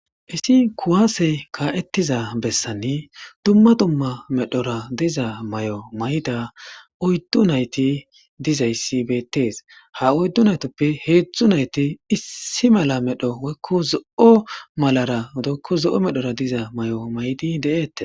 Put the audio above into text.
isi kuwaasey kaa7ettiza bessani dumma dumma medhora diza may7o mayda oyddu nayti dizayssi beettees ha oyddu naytoppe heedzdzu nayti issi mala medho woykko zo7o malara dykko zo7o medhora diza may7o maydi deeette